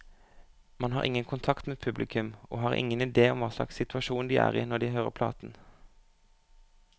Man har ingen kontakt med publikum, og har ingen idé om hva slags situasjon de er i når de hører platen.